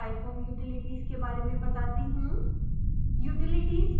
मैं आपको pyfoam utilities के बारे में बताता हूँ